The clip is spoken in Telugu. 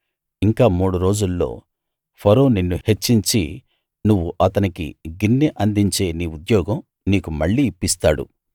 ఇంక మూడు రోజుల్లో ఫరో నిన్ను హెచ్చించి నువ్వు అతనికి గిన్నె అందించే నీ ఉద్యోగం నీకు మళ్ళీ ఇప్పిస్తాడు